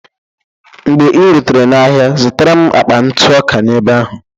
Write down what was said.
Mgbe ị rutere n'ahịa, zụtara m akpa ntụ ọka n'ebe ahụ.